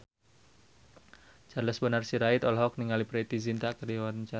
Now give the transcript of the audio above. Charles Bonar Sirait olohok ningali Preity Zinta keur diwawancara